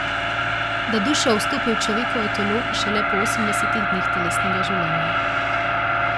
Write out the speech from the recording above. Da duša vstopi v človekovo telo šele po osemdesetih dneh telesnega življenja.